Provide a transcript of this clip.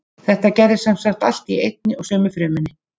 Þetta gerist sem sagt allt í einni og sömu frumunni.